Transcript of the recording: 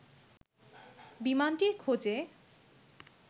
বিমানটির খোঁজে